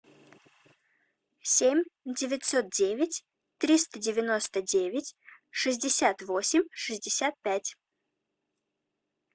семь девятьсот девять триста девяносто девять шестьдесят восемь шестьдесят пять